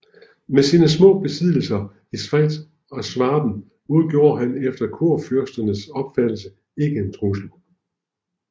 Med sine små besiddelser i Schweiz og Schwaben udgjorde han efter kurfyrsterne opfattelse ikke en trussel